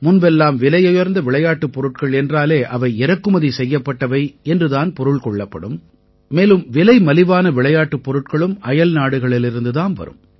முன்பெல்லாம் விலையுயர்ந்த விளையாட்டுப் பொருட்கள் என்றாலே அவை இறக்குமதி செய்யப்பட்டவை என்று தான் பொருள் கொள்ளப்படும் மேலும் விலைமலிவான விளையாட்டுப் பொருட்களும் அயல்நாடுகளிலிருந்து தாம் வரும்